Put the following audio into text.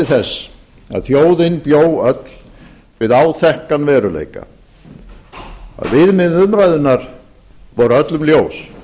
að þjóðin bjó öll við áþekkan veruleika að viðmið umræðunnar voru öllum ljós